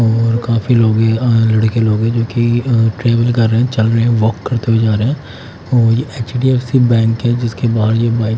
और काफी लोग है अह लड़के लोग है जो कि अह ट्रैवल कर रहे हैं चल रहे हैं वॉक करते हुए जा रहे हैं और ये एच_डी_एफ_सी बैंक है जिसके बाहर ये बाइक --